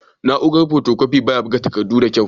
Na'uran fotokofi baya buga takardu da kyau.